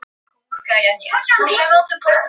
Kom á litla bílnum.